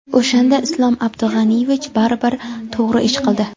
O‘shanda Islom Abdug‘aniyevich baribir to‘g‘ri ish qildi.